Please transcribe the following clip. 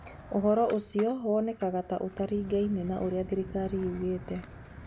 Ũndũ ũcio wonekaga ta ũtaringaine na ũrĩa thirikari yugĩte.